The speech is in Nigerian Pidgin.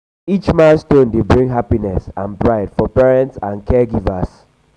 each milestone dey bring happiness and pride for parents and caregivers.